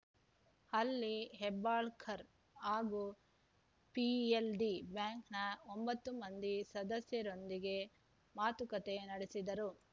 ಅಲ್ಲಿ ಹೆಬ್ಬಾಳ್ಕರ್‌ ಹಾಗೂ ಪಿಎಲ್‌ಡಿ ಬ್ಯಾಂಕ್‌ನ ಒಂಬತ್ತು ಮಂದಿ ಸದಸ್ಯರೊಂದಿಗೆ ಮಾತುಕತೆ ನಡೆಸಿದರು